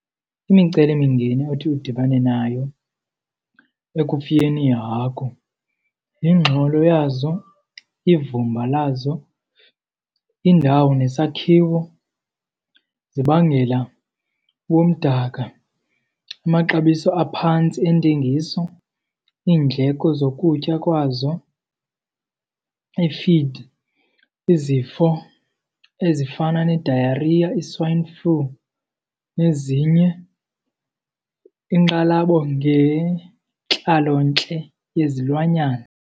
Imicelimingeni othi udibane nayo ekufuyeni iihagu yingxolo yazo, ivumba lazo, indawo nesakhiwo zibangela ubumdaka. Amaxabiso aphantsi entengiso, iindleko zokutya kwazo, iifidi, izifo ezifana ne-diarrhea, i-swine flu, nezinye iinkxalabo ngentlalontle yezilwanyana.